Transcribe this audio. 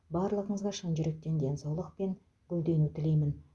барлығыңызға шын жүректен денсаулық пен гүлдену тілеймін